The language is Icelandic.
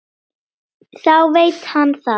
Þá veit hann það.